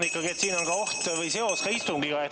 Jah, ma arvan, et siin on seos ikkagi ka istungiga.